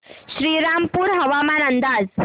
श्रीरामपूर हवामान अंदाज